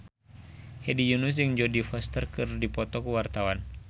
Hedi Yunus jeung Jodie Foster keur dipoto ku wartawan